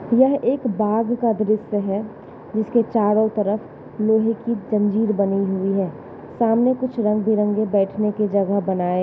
यह एक बाग का दृश्य है जिसके चारो तरफ लोहे की जंजीर बनी हुई है। सामने कुछ रंग-बिरंगे बैठन के जगह बनाए --